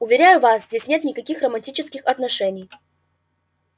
уверяю вас здесь нет никаких романтических отношений